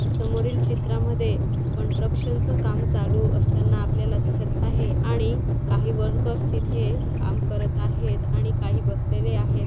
समोरील चित्रा मध्ये कंट्रकशनच काम चालू असताना आपल्याला दिसत आहे आणि काही वरकर्स तिथे काम करत आहेत आणि काही बसलेले आहेत.